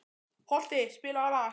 Holti, spilaðu lag.